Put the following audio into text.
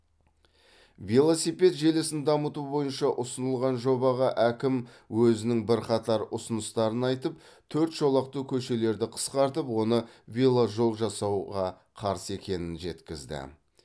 велосипед желісін дамыту бойынша ұсынылған жобаға әкім өзінің бірқатар ұсыныстарын айтып төрт жолақты көшелерді қысқартып оны веложол жасауға қарсы екенін жеткізді